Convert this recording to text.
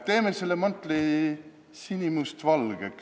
Teeme selle mantli sinimustvalgeks!